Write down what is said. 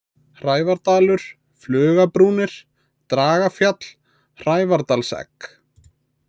Hrævardalur, Flugabrúnir, Dragafjall, Hrævardalsegg